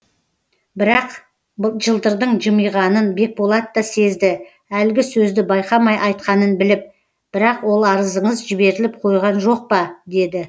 бірақ жылтырдың жымиғанын бекболат та сезді әлгі сөзді байқамай айтқанын біліп бірақ ол арызыңыз жіберіліп қойған жоқ па деді